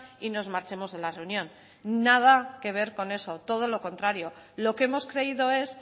y nos marchemos de la reunión nada que ver con eso todo lo contrario lo que hemos creído es